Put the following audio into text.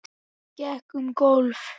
Hann gekk um gólf.